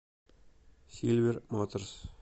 сильвер моторс